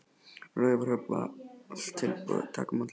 Á Raufarhöfn var allt tilbúið að taka á móti lækni.